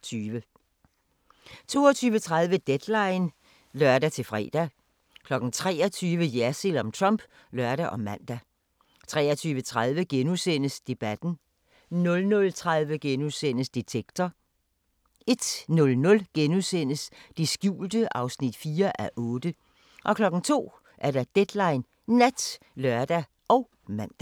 22:30: Deadline (lør-fre) 23:00: Jersild om Trump (lør og man) 23:30: Debatten * 00:30: Detektor * 01:00: Det skjulte (4:8)* 02:00: Deadline Nat (lør og man)